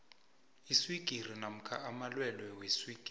iswigiri namkha amalwelwe weswigiri